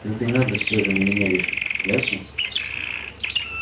только не надо всё это на меня вешать ясно